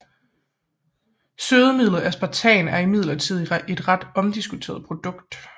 Sødemidlet aspartam er imidlertid et ret omdiskuteret produkt